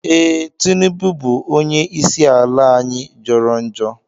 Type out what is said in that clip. Ee, Tinibu onye isi ala anyi jọrọ njọ